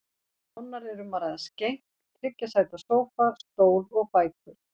Nánar er um að ræða skenk, þriggja sæta sófa, stól og bækur.